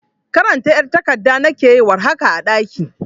karanta ƴar tagadda nake yi war haka a daƙi